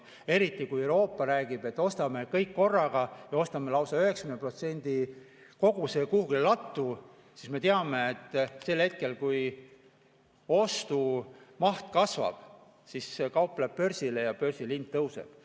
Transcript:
Euroopa räägib, et ostame kõik korraga ja ostame lausa 90% ulatuses koguse kuhugi lattu, aga me teame, et sel hetkel, kui ostumaht kasvab, kaup läheb börsile ja börsil hind tõuseb.